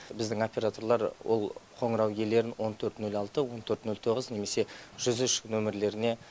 біздің операторлар ол қоңырау иелерін он төрт нөл алты он төрт нөл тоғыз немесе жүз үш нөмірлеріне